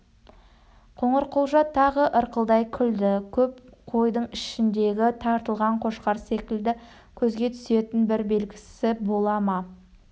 қоңырқұлжа тағы ырқылдай күлді көп қойдың ішіндегі тартылған қошқар секілді көзге түсетін бір белгісі бола ма